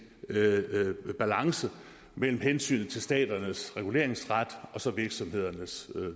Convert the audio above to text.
balance mellem hensynet til staternes reguleringsret og virksomhedernes